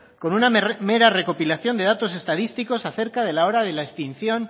con una mera recopilación de datos estadísticos acerca de la hora de la extinción